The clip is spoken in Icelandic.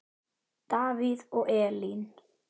Davíð og Elín.